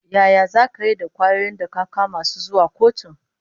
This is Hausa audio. Yaya zaka yi da kwayoyin da ka kama su zuwa kotu?